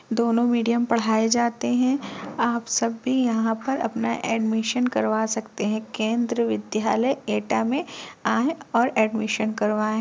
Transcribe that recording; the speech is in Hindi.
दोनों मीडीअम पढ़ाए जाते हैं आप सब भी यहाँ पर अपना एडमिशन करवा सकते है केन्द्रीय विद्यालय एटा में आए और एडमिशन करवाए।